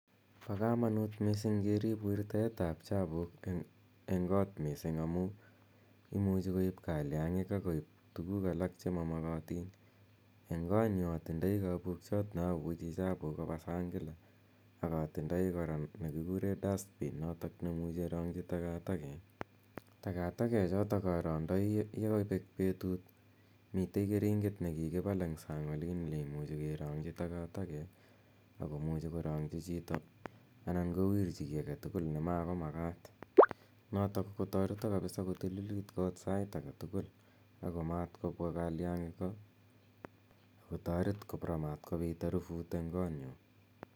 Pa kamanut missing' kerip wirtaet ap chapuuk eng' koot missing' amu imuchi koip kaliang'iik ak tuguuk alak che ma makatin. En koot nyu atindai kapukiat neapuche chapuuk kopa sang' kila ak atindai kora notok nekikure dutbin ne imuchi kerang'chi takataket. Takatakechotok arandai ye kapek petut. Mitei keringet ne kikipal eng' sang' olin ne muchi keraang'chi takatakek ako muchi korang'chi chito anan kowirchi ki age tugul ne mako makat notok kotareta kapixsa kotililit koot sait age tugul ako matkopwa kaiang'ik ko ako taret kora matkopit harufut eng' kootnyu.